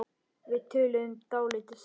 Við töluðum dálítið saman.